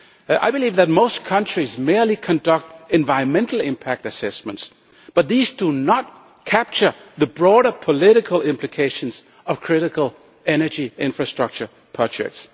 I believe that most countries merely conduct environmental impact assessments, but these do not capture the broader political implications of critical energy infrastructure projects.